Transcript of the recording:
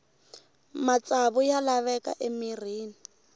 matsavu ya laveka emirhini